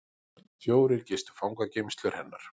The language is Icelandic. Fjórir gistu fangageymslur hennar